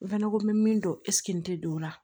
N fɛnɛ ko n bɛ min dɔn ɛseke n tɛ don o la